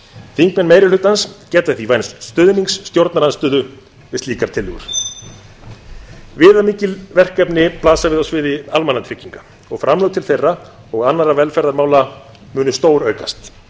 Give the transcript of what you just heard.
þingmenn meiri hlutans geta því vænst stuðnings stjórnarandstöðu við slíkar tillögur viðamikil verkefni blasa við á sviði almannatrygginga og framlög til þeirra og annarra velferðarmála stóraukast